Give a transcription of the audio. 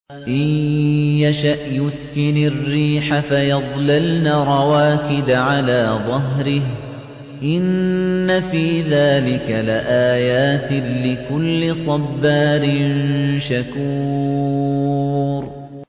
إِن يَشَأْ يُسْكِنِ الرِّيحَ فَيَظْلَلْنَ رَوَاكِدَ عَلَىٰ ظَهْرِهِ ۚ إِنَّ فِي ذَٰلِكَ لَآيَاتٍ لِّكُلِّ صَبَّارٍ شَكُورٍ